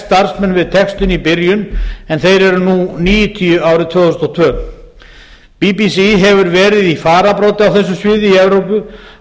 starfsmenn við textun í byrjun en þeir eru nú níutíu árið tvö þúsund og tvö bbc hefur verið í fararbroddi á þessu sviði í evrópu